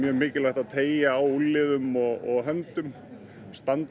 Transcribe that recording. mikilvægt að teygja á úlnliðum og höndum standa